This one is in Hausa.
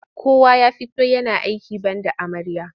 Kowa ya fito yana aiki banda amarya.